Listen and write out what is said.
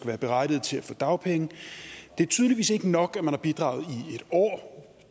være berettiget til at få dagpenge det er tydeligvis ikke nok at man har bidraget